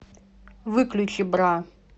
выключи бра